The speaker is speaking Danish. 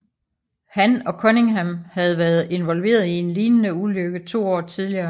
Han og Cunningham havde været involveret i en lignende ulykke to år tidligere